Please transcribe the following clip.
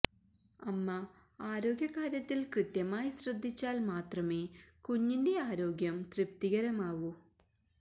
അമ്മ ആരോഗ്യ കാര്യത്തില് കൃത്യമായി ശ്രദ്ധിച്ചാല് മാത്രമേ കുഞ്ഞിന്റെ ആരോഗ്യം തൃപ്തികരമാവൂ